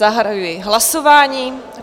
Zahajuji hlasování.